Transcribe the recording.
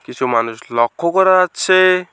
কিছু মানুষ লক্ষ্য করা যাচ্ছে।